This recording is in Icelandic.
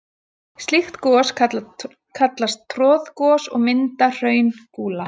Slík gos kallast troðgos og mynda hraungúla.